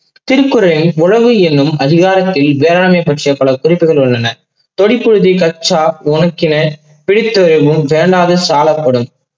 உரவு என்னும் அதிகாரத்தில் வேளாண்மை பற்றிய பல குறிப்புகள் உள்ளன. கொடி பகுதி கற்றார் உரைக்கினே பீட்டுரையும் வேளாண்மை சாலப்படும்.